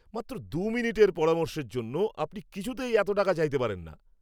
মাত্র দু মিনিটের পরামর্শের জন্য আপনি কিছুতেই এত টাকা চাইতে পারেন না!